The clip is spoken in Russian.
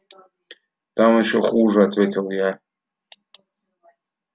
там ещё хуже ответил я